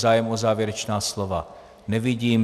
Zájem o závěrečná slova nevidím.